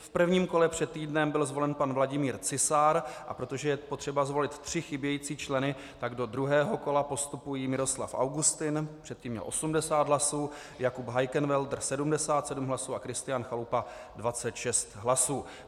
V prvním kole před týdnem byl zvolen pan Vladimír Cisár, a protože je potřeba zvolit tři chybějící členy, tak do druhého kola postupují Miroslav Augustin, předtím měl 80 hlasů, Jakub Heikenwälder, 77 hlasů, a Kristián Chalupa, 26 hlasů.